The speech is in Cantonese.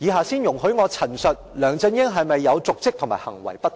先容許我陳述梁振英是否有瀆職和行為不當。